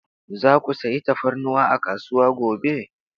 Za ku sayi tafarnuwa a kasuwa gobe?